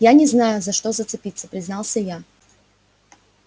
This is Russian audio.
я не знаю за что зацепиться признался я